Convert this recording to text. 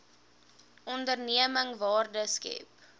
onderneming waarde skep